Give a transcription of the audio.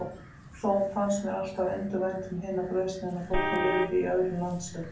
Þó fannst mér alltaf undur vænt um hina brauðsneiðina, þótt hún lifði í öðrum landshluta.